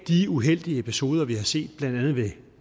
de uheldige episoder vi har set blandt andet ved